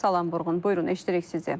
Salam Vurğun, buyurun, eşidirik sizi.